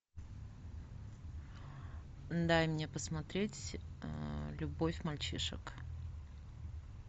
дай мне посмотреть любовь мальчишек